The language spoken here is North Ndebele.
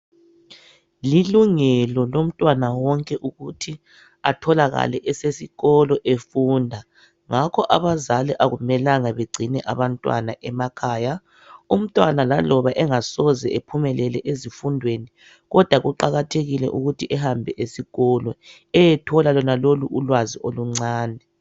Lilungelo lomntwana wonke ukuthi atholakale esesikolo efunda. Ngakho abazali akumelanga begcine abantwana emakhaya. Umntwana laloba engasoze ephumelele ezifundweni kodwa kuqakathelile ukuthi ehambe esikolo, eyethola lonalolu ulwazi oluncane.